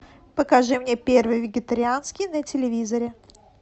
покажи мне первый вегетарианский на телевизоре